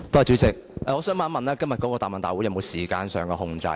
主席，我想問今天的答問會是否有時間上的控制？